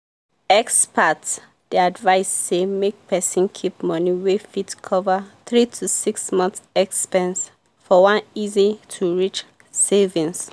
experts dey advise say make person keep money wey fit cover 3 to 6 months expense for one easy-to-reach savings.